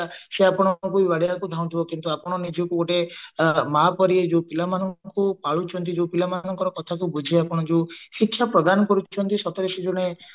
ସେ ଆପଣଙ୍କୁ ବି ବାଡେଇବାକୁ ଧାଉଁଥିବ କିନ୍ତୁ ଆପଣ ନିଜକୁ ଗୋଟେ ମା ପରି ଯୋଉ ପିଲାମାନଙ୍କୁ ପାଳୁଛନ୍ତି ଯୋଉ ପିଲାମାନଙ୍କର କଥାକୁ ବୁଝି ଆପଣ ଯୋଉ ଶିକ୍ଷା ପ୍ରଦାନ କରୁଛନ୍ତି ସତରେ ସେ ଜଣେ